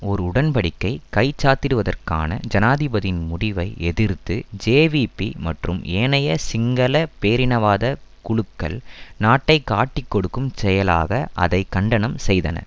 ஒரு உடன் படிக்கை கைச்சாத்திடுவதற்கான ஜனாதிபதியின் முடிவை எதிர்த்த ஜேவிபி மற்றும் ஏனைய சிங்கள பேரினவாத குழுக்கள் நாட்டை காட்டிக்கொடுக்கும் செயலாக அதை கண்டனம் செய்தன